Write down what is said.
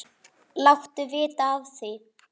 Láttu vita af því.